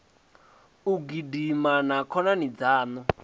u gidima na khonani dzaṋu